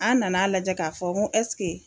An nana lajɛ k'a fɔ ngo ɛsike